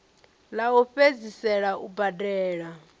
ḽa u fhedzisela u badela